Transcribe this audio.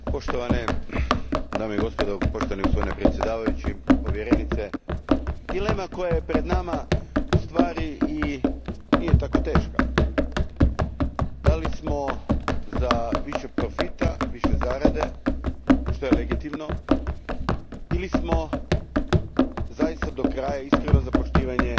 Gospodine predsjedavajući, povjerenice, dilema koja je pred nama ustvari i nije tako teška da li smo za više profita, više zarade, što je legitimno, ili smo zaista do kraja iskreno za poštovanje